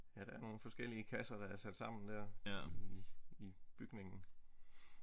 Ja der er nogle forskellige kasser der er sat sammen dér i i bygningen